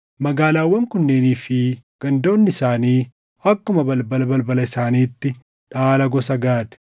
Magaalaawwan kunneenii fi gandoonni isaanii akkuma balbala balbala isaaniitti dhaala gosa Gaad.